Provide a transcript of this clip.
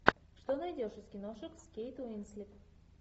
что найдешь из киношек с кейт уинслет